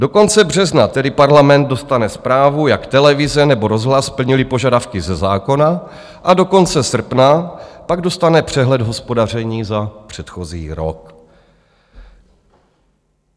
Do konce března tedy Parlament dostane zprávu, jak televize nebo rozhlas plnily požadavky ze zákona, a do konce srpna pak dostane přehled hospodaření za předchozí rok.